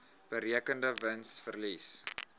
berekende wins verlies